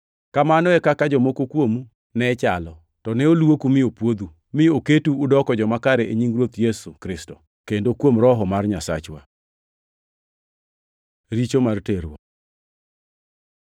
Kamano e kaka jomoko kuomu ne chalo. To ne olwoku mi opwodhu, mi oketu udoko joma kare e nying Ruoth Yesu Kristo, kendo kuom Roho mar Nyasachwa. Richo mar terruok